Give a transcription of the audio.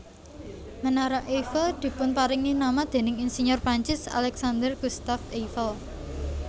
Menara Eiffel dipunparingi nama déning insinyur Perancis Alexandre Gustave Eiffel